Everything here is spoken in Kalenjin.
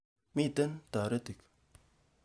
Mitey taretik